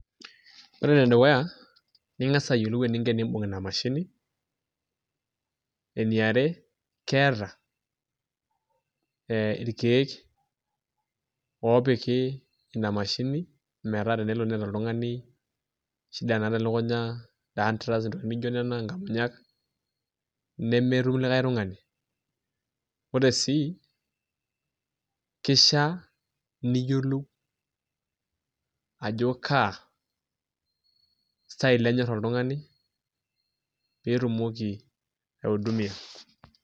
Ore ene dukuya, ning'as ayolou eninko tenibung' ina mashini. Eni are keeta irkeek opiki ina mashini meeta tenelo neeta oltung'ani shida naata elukunya , dunt raft, naijo nena nkamunyak nemitum likae tukani. Ore sii keisha niyiolou ajo kaa style enyor oltung'ani pitumoki atung'ie.